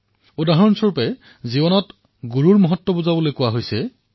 যিদৰে জীৱনত গুৰুৰ মহত্ব প্ৰকাশ কৰিবলৈ কোৱা হৈছে